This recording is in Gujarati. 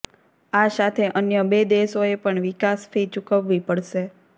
આ સાથે અન્ય બે દેશોએ પણ વિકાસ ફી ચૂકવવી પડશે